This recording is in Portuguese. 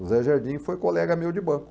O Zé Jardim foi colega meu de banco.